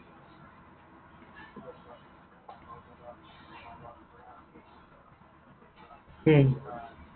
হম